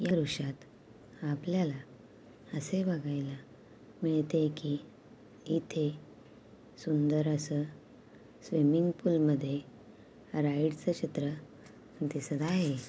दृश्यात आपल्याला असे बगायला मिळते कि इथे सुंदर असं स्विमिन्ग पूल मध्ये राईड च चित्र दिसत आहे.